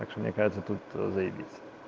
так что мне кажется тут заебись